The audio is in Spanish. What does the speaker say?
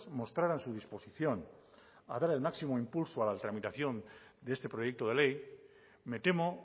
mostraran su disposición a dar el máximo impulso a la tramitación de este proyecto de ley me temo